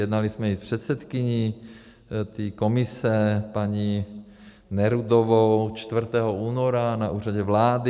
Jednali jsme i s předsedkyní té komise paní Nerudovou 4. února na Úřadě vlády.